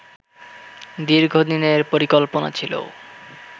দীর্ঘদিনের পরিকল্পনা ছিল